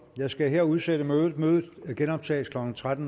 jeg skal her udsætte mødet mødet genoptages klokken tretten